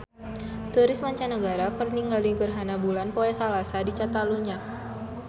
Turis mancanagara keur ningali gerhana bulan poe Salasa di Catalunya